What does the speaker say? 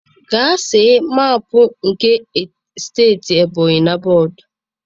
Gaa see mapụ nke steeti ebonyi na bọọdụ.